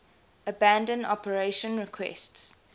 abandon operation requests